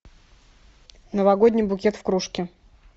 новогодний букет в кружке